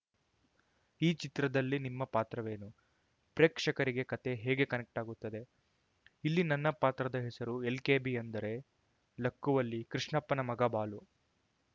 ಈ ಚಿತ್ರದಲ್ಲಿ ನಿಮ್ಮ ಪಾತ್ರವೇನು ಪ್ರೇಕ್ಷಕರಿಗೆ ಕತೆ ಹೇಗೆ ಕನೆಕ್ಟ್ ಆಗುತ್ತದೆ ಇಲ್ಲಿ ನನ್ನ ಪಾತ್ರದ ಹೆಸರು ಎಲ್‌ಕೆಬಿ ಅಂದರೆ ಲಕ್ಕುವಲ್ಲಿ ಕೃಷ್ಣಪ್ಪನ ಮಗ ಬಾಲು